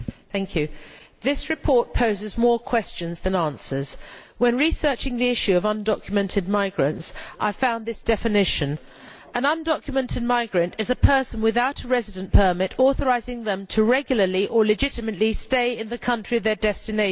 Madam President, this report poses more questions than it answers. When researching the issue of undocumented migrants, I found this definition An undocumented migrant is a person without a residence permit authorising them to regularly or legitimately stay in the country of their destination.'